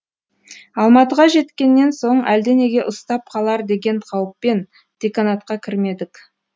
алматыға жеткеннен соң әлденеге ұстап қалар деген қауіппен деканатқа кірмедік